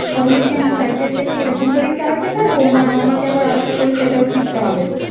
তাহলে কি আমি সাইকেল টা কি এরকম করেই চালাতে পারবো? না আমাকে আবার আলাদা করে সেটাও শিখতে হবে?